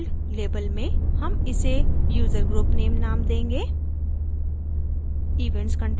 title field label में हम इसे user group name name देंगे